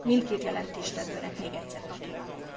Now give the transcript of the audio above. Mindkét jelentéstevőnek még egyszer gratulálok!